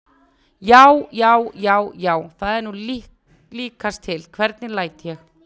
JÁ, JÁ, JÁ, JÁ, ÞAÐ ER NÚ LÍKAST TIL, HVERNIG LÆT ÉG!